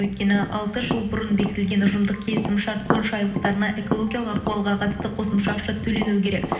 өйткені алты жыл бұрын бекітілген ұжымдық келісімшарт бойынша айлықтарына экологиялық ахуалға қатысты қосымша ақша төленуі керек